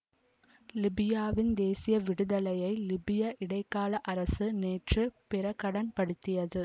லிபியாவின் தேசிய விடுதலையை லிபிய இடைக்கால அரசு நேற்று பிரகடன் படுத்தியது